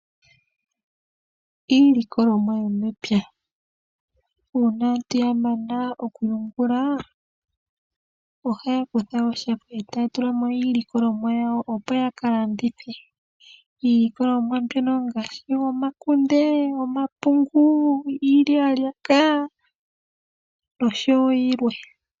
Iilikolwomwa yo mepya, uuna aantu ya mana oku yungula, ohaya kutha oshako etay tulamo iilikolomwa yayo, opo yaka landithe. Iilikolomwa mbyoka onga shi omakunde, omapungu, iilyalyaka nosho wo yilwe.